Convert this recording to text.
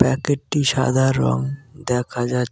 প্যাকেটটি সাদা রং দেখা যাচ্ছ--।